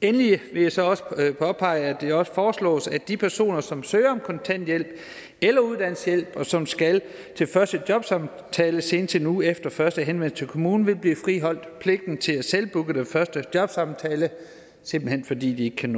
endelig vil jeg så også påpege at det også foreslås at de personer som søger om kontanthjælp eller uddannelseshjælp og som skal til første jobsamtale senest en uge efter første henvendelse til kommunen vil blive friholdt pligten til at selvbooke den første jobsamtale simpelt hen fordi de ikke kan